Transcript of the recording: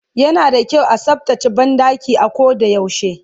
yana da kyau a tsaftace banɗaki a ko da yaushe